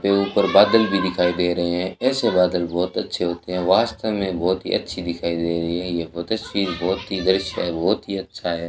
ये ऊपर बादल भी दिखाई दे रहे है ऐसे बादल बहोत अच्छे होते है वास्तव मे बहोत ही अच्छी दिखाई दे रही है ये बोतस्वीर बहोत ही दृश्य है बहोत ही अच्छा है।